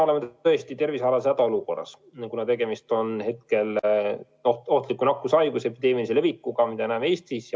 Praegu oleme tõesti tervisealases hädaolukorras, kuna tegemist on ohtliku nakkushaiguse epideemilise levikuga Eestis.